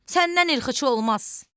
Səndən irxıcı olmaz.